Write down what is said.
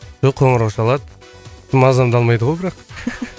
жоқ қоңырау шалады мазамды алмайды ғой бірақ